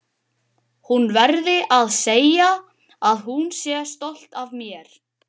Hún verði að segja að hún sé stolt af mér.